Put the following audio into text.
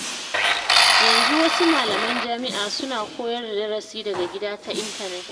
Yanzu wasu malaman jami’a suna koyar da darasi daga gida ta intanet.